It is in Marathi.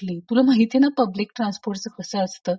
तुला माहितीये ना पब्लिक ट्रान्सपोर्ट च कस असत.